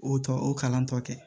O tɔ o kalan tɔ kɛ